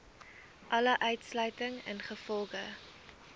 alle uitsluiting ingevolge